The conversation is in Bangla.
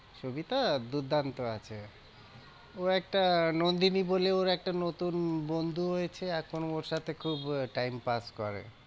সবিতা দুর্দান্ত আছে ও একটা নন্দিনী বলে ওর একটা নতুন বন্ধু হয়েছে এখন ওর সাথে খুব time pass করে।